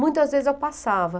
Muitas vezes eu passava.